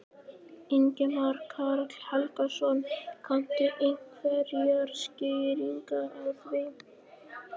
Ingimar Karl Helgason: Kanntu einhverjar skýringar á því?